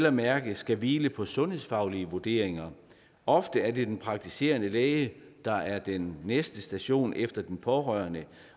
og mærke skal hvile på sundhedsfaglige vurderinger ofte er det den praktiserende læge der er den næste station efter den pårørende